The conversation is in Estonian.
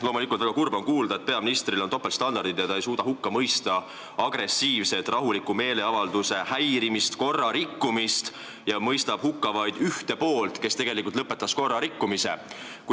Loomulikult on väga kurb kuulda, et peaministril on topeltstandardid: ta ei suuda hukka mõista rahuliku meeleavalduse agressiivset häirimist ja korrarikkumist ning mõistab hukka vaid ühte poolt, kes tegelikult selle korrarikkumise lõpetas.